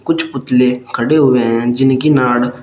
कुछ पुतले खड़े हुए हैं जिनकी नाड़--